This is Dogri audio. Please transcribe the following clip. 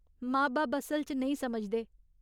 मां बब्ब असल च नेईं समझदे।